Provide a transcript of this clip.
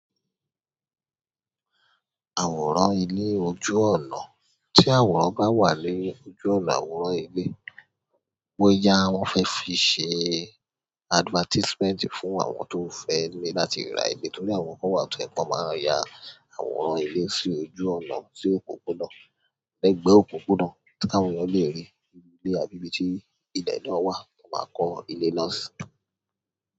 Àwòrán ilé ojú ọnà, tí àwòrán bá wà ní ojú ọnà àwòrán ilé, bóyá wọ́n fẹ́ fi ṣe advertisement fún àwọn tó fẹ́ ni láti ra ilé torí àwọn kan wà tó e pe won máa ń ya àwòrán ilé sí ojú ọnà sí ó ópópo náà. Lẹ́gbẹ̀ẹ́ òpópó náà kí àwọn èèyàn lè rí nibi ti ilẹ̀ náà wà, wọn máa kọ́ ilé náà síi.